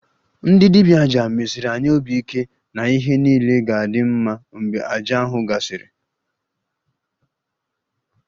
Ndị dibia 'aja' mesiri anyị obi ike na ihe niile ga-adị mma mgbe àjà ahụ gasịrị